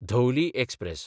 Dhauli express